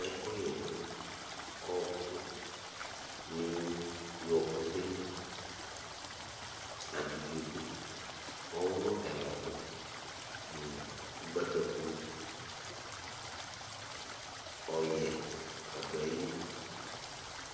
Ɛkuyɛ du ɔnu nii iwɔkutɛli Ablidzo du ɔwulu ɛla du ayili Ugbataku ɔyɛ ni du ayili ,